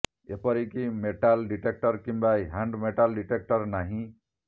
ଏପରିକି metal detector କିମ୍ବା hand metal detector ନାହିଁ